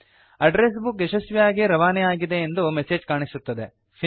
address book ಯಶಸ್ವಿಯಾಗಿ ರವಾನೆ ಆಗಿದೆ ಎಂದು ಮೆಸೇಜ್ ಕಾಣಿಸುತ್ತದೆ